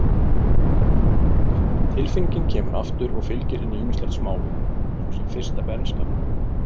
Tilfinningin kemur aftur og fylgir henni ýmislegt smálegt, svo sem fyrsta bernska mín.